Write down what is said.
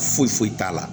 Foyi foyi t'a la